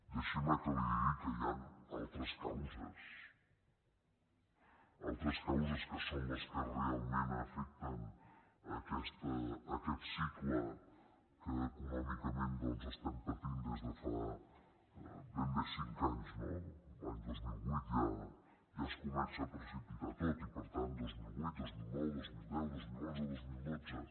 deixi’m que li digui que hi han altres causes altres causes que són les que realment afecten aquest cicle que econòmicament doncs estem patint des de fa ben bé cinc anys no l’any dos mil vuit ja es comença a precipitar tot i per tant dos mil vuit dos mil nou dos mil deu dos mil onze i dos mil dotze